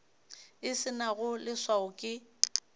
e se nago leswao ke